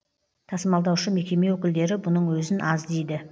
тасымалдаушы мекеме өкілдері бұның өзін аз дейді